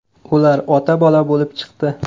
Ular ota-bola bo‘lib chiqdi.